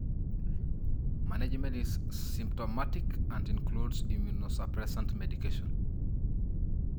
Management is symptomatic and includes immunosupressant medication.